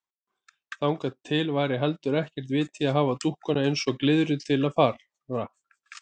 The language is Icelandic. Þangað til væri heldur ekkert vit í að hafa dúkkuna eins og glyðru til fara.